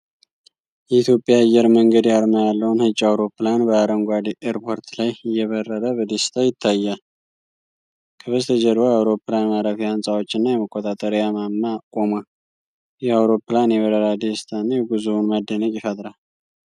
የኢትዮጵያ አየር መንገድ አርማ ያለው ነጭ አውሮፕላን በአረንጓዴ ኤርፖርት ላይ እየበረረ በደስታ ይታያል። ከበስተጀርባው የአውሮፕላን ማረፊያ ህንፃዎችና የመቆጣጠሪያ ማማ ቆሟል። ይህ አውሮፕላን የበረራ ደስታንና የጉዞን መደነቅ ይፈጥራል።